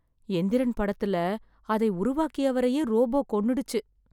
எந்திரன் படத்துல, அதை உருவாக்கியவரையே ரோபோ கொன்னுடுச்சு.